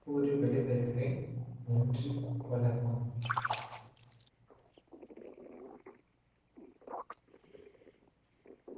கூறி விடைபெறுகிறேன் நன்றி வணக்கம்